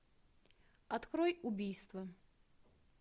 открой убийство